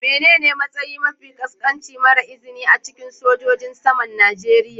Menene matsayi mafi ƙasƙanci mara izini a cikin sojojin saman Najeriya.